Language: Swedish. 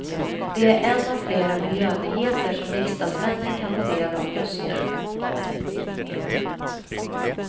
Det är en av flera miljönyheter som riksdagsmännen kan ta del av just nu.